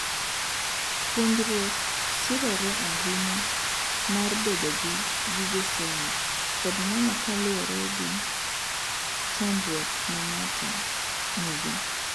puonjruok sirore ahinya mar bedo gi gige somo, kod nono kaluworegi gi chandruok ma ng'ato nogo